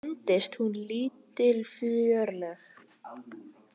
Fundist hún lítilfjörleg.